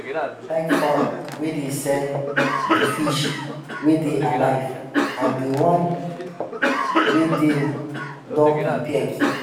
customers dey like farm wey dey sell di di fish wey dey alive and di wan wey dem don prepare keep.